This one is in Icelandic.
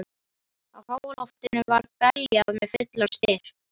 Á háaloftinu var beljað með fullum styrk